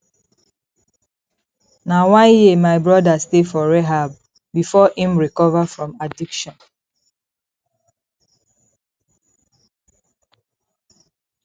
na one year my broda stay for rehab before im recover from addiction